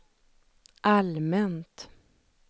allmänt